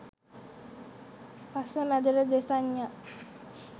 පස්ස මැදට දෙසඤ්ඤා